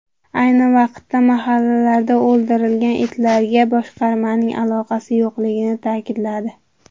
Ayni vaqtda mahallalarda o‘ldirilgan itlarga boshqarmaning aloqasi yo‘qligini ta’kidladi.